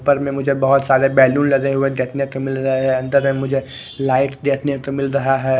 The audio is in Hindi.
ऊपर में मुझे बहोत सारे बैलून लगे हुए देखने को मिल रहे हैं अंदर में मुझे लाइट देखने को मिल रहा है।